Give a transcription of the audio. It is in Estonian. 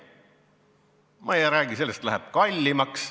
Ma ei räägi sellest, et ehitus läheb kallimaks.